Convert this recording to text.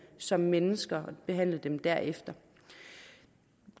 som mennesker og behandle dem derefter